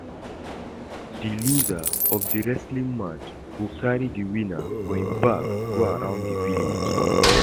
The loser of the wrestling match go carry the winner for im back go round the village